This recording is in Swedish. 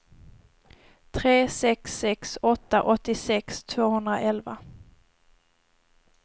tre sex sex åtta åttiosex tvåhundraelva